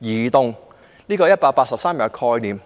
移動這個概念的。